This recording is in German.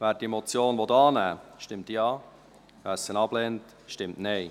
Wer diese Motion annehmen will, stimmt Ja, wer diese ablehnt, stimmt Nein.